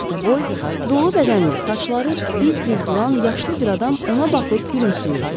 Bəstəboy, dolu bədənli, saçları biz-biz duran yaşlı bir adam ona baxıb gülümsəyirdi.